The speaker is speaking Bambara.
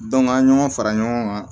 an ye ɲɔgɔn fara ɲɔgɔn kan